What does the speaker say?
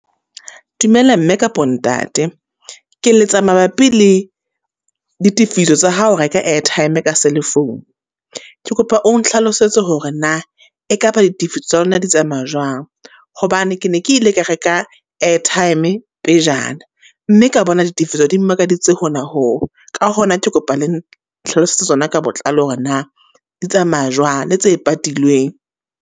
Dumela mme kapo ntate, ke letsa mabapi le ditifiso tsa ha o reka airtime ka cell-e phone. Ke kopa o nhlalosetse hore na e ka ba ditifiso tsa lona di tsamaya jwang? Hobane ke ne ke ile ka reka airtime e pejana, mme ka bona ditifiso di mmakaditse hona ho. Ka hona ke kopa le nhlalosetse tsona ka botlalo hore na di tsamaya jwang le tse patilweng?